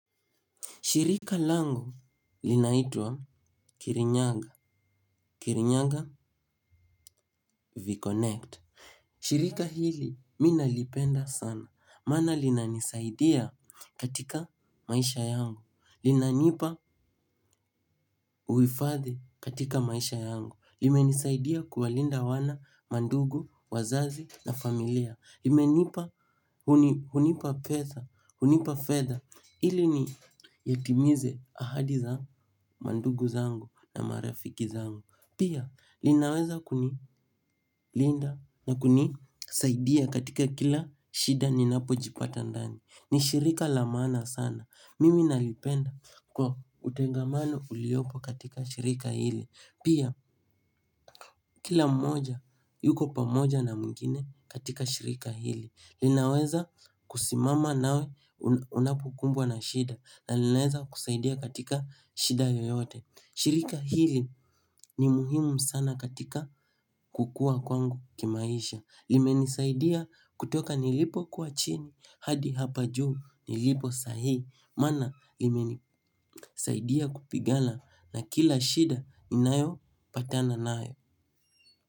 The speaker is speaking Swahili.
Shirika langu linaitwa Kirinyaga Kirinyaga V-Connect. Shirika hili mi nalipenda sana. Maana linanisaidia katika maisha yangu. Lina nipa uifadhi katika maisha yangu. Limenisaidia kuwalinda wana, mandugu, wazazi na familia. Limenipa. Hunipa fedha ili nitimize ahadi zangu, mandugu zangu na marafiki zangu. Pia, linaweza kuni linda na kunisaidia katika kila shida ninapo jipata ndani. Ni shirika la maana sana, mimi nalipenda kwa utengamano uliopo katika shirika hili. Pia, kila mmoja, yuko pamoja na mwingine katika shirika hili. Linaweza kusimama nawe unapokumbwa na shida na linaweza kusaidia katika shida yoyote. Shirika hili ni muhimu sana katika kukua kwangu kimaisha. Limenisaidia kutoka nilipo kua chini hadi hapa juu nilipo saa hii, mana limenisaidia kupigana na kila shida ninayopatana nayo.